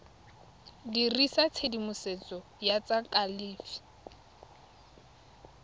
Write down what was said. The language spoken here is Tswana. dirisa tshedimosetso ya tsa kalafi